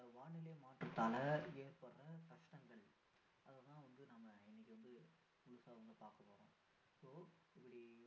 வானிலை மாற்றத்தால ஏற்படுற கஷ்டங்கள் அதை தான் வந்து நம்ம இன்னைக்கு வந்து முழுசா வந்து பார்க்கபோறோம் so இப்படி